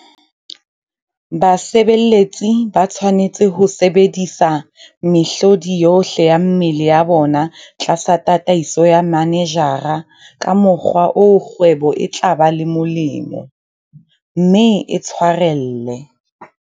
Basebeletsi ba tshwanetse ho sebedisa mehlodi yohle ya mmele ya bona tlasa tataiso ya manejara ka mokgwa oo kgwebo e tla ba le molemo, mme e tshwarelle.